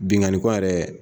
Binkanni ko yɛrɛ